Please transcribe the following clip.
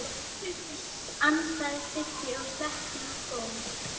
ansaði Siggi og sletti í góm.